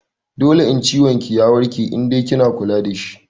Dole in ciwon ki ya warke in dai kina kula dashi